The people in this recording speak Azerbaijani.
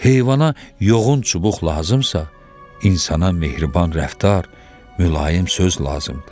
Heyvana yoğun çubuq lazımdırsa, insana mehriban rəftar, mülayim söz lazımdır.